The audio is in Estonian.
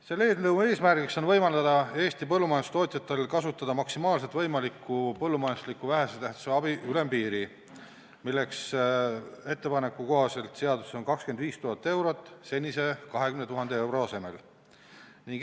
Selle eelnõu eesmärk on võimaldada Eesti põllumajandustootjatel kasutada maksimaalselt võimalikku põllumajandusliku vähese tähtsusega abi ülempiiri, milleks ettepaneku kohaselt on seaduses 25 000 eurot senise 20 000 euro asemel.